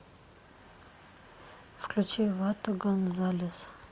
включи вато гонзалес